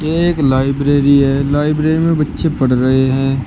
ये एक लाइब्रेरी है लाइब्रेरी में बच्चे पढ़ रहे हैं।